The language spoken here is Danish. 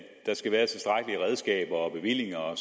der skal være tilstrækkelige redskaber og bevillinger og